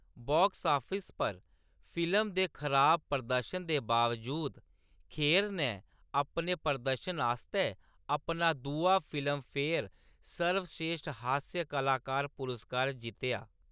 Box office पर film दे खराब प्रदर्शन दे बावजूद, खेर नै अपने प्रदर्शन आस्तै अपना दूआ फिल्मफेयर सर्वश्रेष्ठ हास्य कलाकार पुरस्कार जित्तेआ।